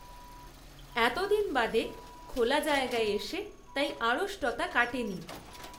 এত দিন বাদে খোলা জায়গায় এসে তাই আড়ষ্টতা কাটেনি